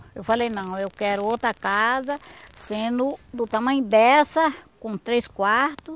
Eu falei, não, eu quero outra casa, sendo do tamanho dessa, com três quarto,